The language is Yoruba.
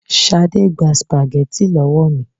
Ṣadé gba Spaghetti lọ́wọ́ mi